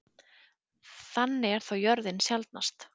Þannig er þó jörðin sjaldnast.